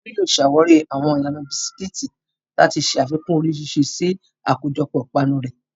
Tolu yóò ṣàwárí àwọn ìlànà bisikíìtì láti ṣe àfikún oríṣiríṣi sí àkójọpọ̀ ìpanu rẹ̀.